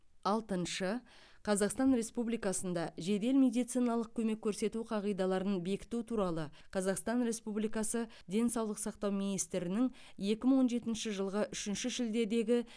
алтыншы қазақстан республикасында жедел медициналық көмек көрсету қағидаларын бекіту туралы қазақстан республикасы денсаулық сақтау министрінің екі мың он жетінші жылғы үшінші шілдедегі